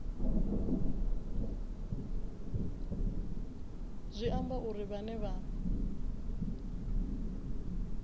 zwi amba uri vhane vha